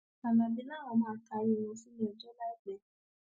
alábí làwọn máa taari wọn síwájú adájọ láìpẹ